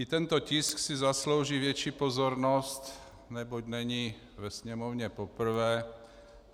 I tento tisk si zaslouží větší pozornost, neboť není ve Sněmovně poprvé.